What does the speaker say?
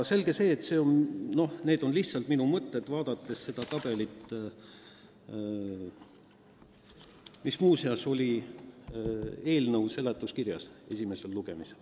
Aga need on lihtsalt minu mõtted, kui ma vaatasin seda tabelit, mis muuseas oli ka eelnõu seletuskirjas esimesel lugemisel.